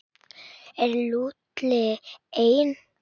Er Lúlli einn?